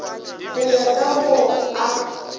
go ya ka mo a